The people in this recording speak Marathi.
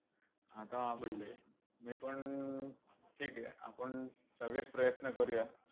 आता मीपण, ठीक आहे. आपण सगळेच प्रयत्न करूया.